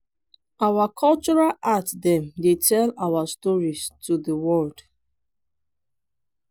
our cultural art dem dey tell our stories to di world.